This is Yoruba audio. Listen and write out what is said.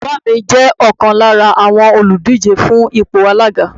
Bàbá mi jẹ́ ọ̀kan lára àwọn òlùdíje fún ipò alága